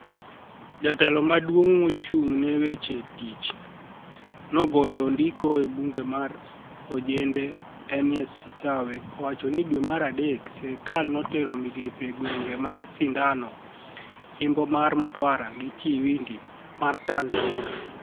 Jatelo maduonig mochunig ni e weche tich, nig'ol nidiko ebunige mar ojenide Arni est Sitawe owacho nii dwe mar adek sirkal, notero migape e gwenige mag Sinidano imbo mar mtwara gi chiwinidi ma tanizaniia.